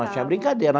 Não tinha brincadeira.